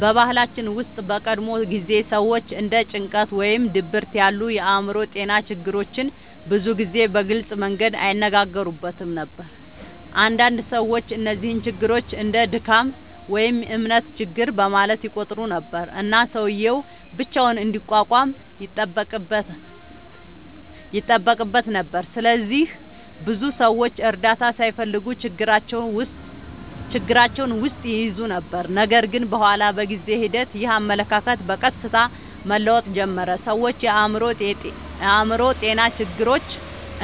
በባህላችን ውስጥ በቀድሞ ጊዜ ሰዎች እንደ ጭንቀት ወይም ድብርት ያሉ የአእምሮ ጤና ችግሮችን ብዙ ጊዜ በግልጽ መንገድ አይነጋገሩበትም ነበር። አንዳንድ ሰዎች እነዚህን ችግሮች እንደ “ድካም” ወይም “እምነት ችግር” በማለት ይቆጥሩ ነበር፣ እና ሰውዬው ብቻውን እንዲቋቋም ይጠበቅበት ነበር። ስለዚህ ብዙ ሰዎች እርዳታ ሳይፈልጉ ችግራቸውን ውስጥ ይይዙ ነበር። ነገር ግን በኋላ በጊዜ ሂደት ይህ አመለካከት በቀስታ መለወጥ ጀመረ። ሰዎች የአእምሮ ጤና ችግሮች